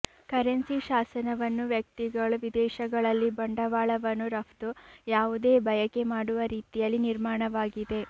currency ಶಾಸನವನ್ನು ವ್ಯಕ್ತಿಗಳು ವಿದೇಶಗಳಲ್ಲಿ ಬಂಡವಾಳವನ್ನು ರಫ್ತು ಯಾವುದೇ ಬಯಕೆ ಮಾಡುವ ರೀತಿಯಲ್ಲಿ ನಿರ್ಮಾಣವಾಗಿದೆ